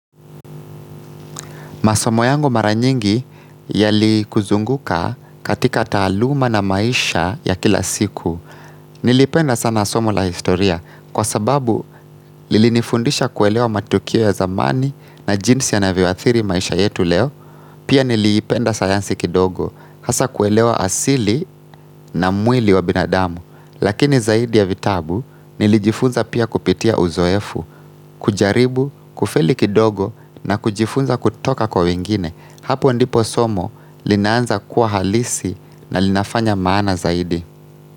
Masomo yangu mara nyingi yali kuzunguka katika taaluma na maisha ya kila siku. Nilipenda sana somo la historia kwa sababu lilinifundisha kuelewa matukio ya zamani na jinsi yanavyo athiri maisha yetu leo. Pia nilipenda sayansi kidogo hasa kuelewa asili na mwili wa binadamu. Lakini zaidi ya vitabu nilijifunza pia kupitia uzoefu, kujaribu, kufeli kidogo na kujifunza kutoka kwa wengine. Hapo ndipo somo lina anza kuwa halisi na linafanya maana zaidi.